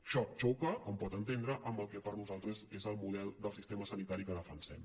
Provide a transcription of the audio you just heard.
això xoca com pot entendre amb el que per nosaltres és el model del sistema sanitari que defensem